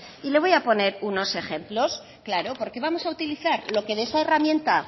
y le voy a poner unos ejemplos claro porque vamos a utilizar lo que de esa herramienta